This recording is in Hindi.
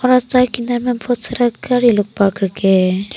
बहुत सारा गाड़ी लोग पार्क करके रखे हैं।